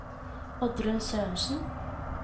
Oddrun Sørensen